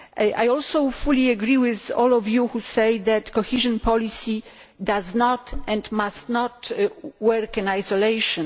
I also fully agree with all of you who say that cohesion policy does not, and must not, work in isolation